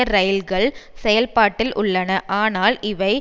இரயில்கள் செயல்பாட்டில் உள்ளன ஆனால் இவை